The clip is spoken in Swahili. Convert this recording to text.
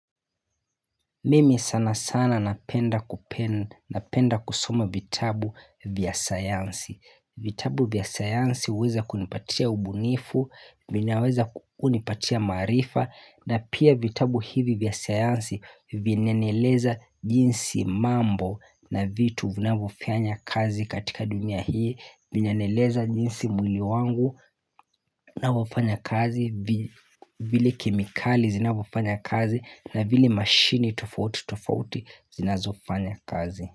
Mimi sana sana napenda kusuma vitabu vya sayansi vitabu vya sayansi huweza kunipatia ubunifu vinaweza kunipatia maarifa na pia vitabu hivi vya sayansi vinanieleza jinsi mambo na vitu vinavofanya kazi katika dunia hii Vinanieleza jinsi mwili wangu unavyofanya kazi vile kemikali zinavyofanya kazi na vile mashine tofauti tofauti zinazofanya kazi.